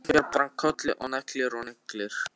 Kinkar bara kolli og neglir og neglir.